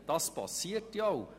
Dies passiert ja auch.